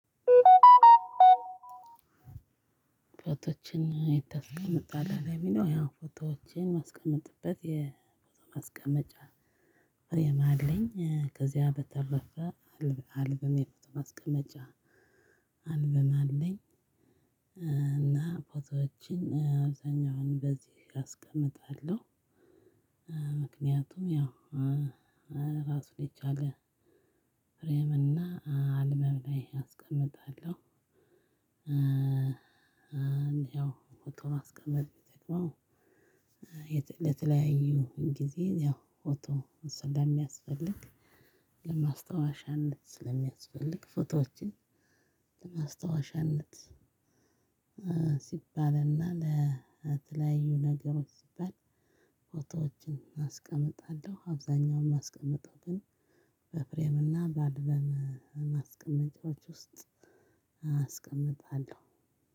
ፎቶዎችን የት? ታስቀምጣለህ ለሚለው ያን ፎቶዎችን እማስቀጥበት የፎቶ ማስቀመጫ ፍሬም አለኝ። ከዚያ በተረፈ አልበም የፎቶ ማስቀመጫ አልበም አለኝ። እና ፎቶዎችን አብዛኛውን በዚህ አስቀምጣለሁ። ምክንያቱም ያው ራሱን የቻለ ፍሬም እና አልበም ላይ አስቀምጣለሁ። ያው ፎቶ ማስቀመጥ የሚጠቅመው ለተለያዩ ጊዜ ያው ፎቶ ስለሚያስፈልግ ለማስታወሻነት ስለሚያስፈልግ ፎቶዎችን። ለማስታወሻነት ሲባልና ለተለያዩ ነገሮች ሲባል ፎቶወችን አስቀምጣለሁ። አብዛኛው የማስቀምጠው ግን በፍሬምና በአልበም ማስቀመጫወች ውስጥ አስቀምጣለሁ።